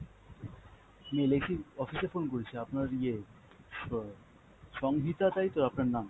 আমি LIC র office এ phone করেছি, আপনার ইয়ে স্ব~ সংহিতা তাইতো আপনার নাম?